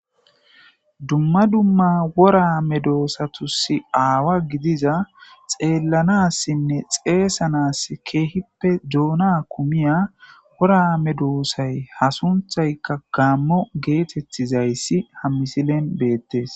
dumma dumma wora medoosatusi aawa gidiza xeellanassinne xeesanas keehippe doona kumiya woraame doossay hasunthayka kaammo geetettizayssi ha misilen beettes